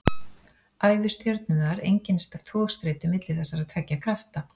Ævi stjörnunnar einkennist af togstreitu milli þessara tveggja krafta.